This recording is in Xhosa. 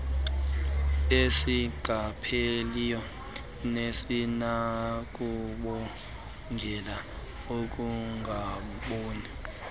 esingapheliyo nesinokubangela ukungaboni